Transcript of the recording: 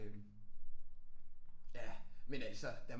Øh ja men altså der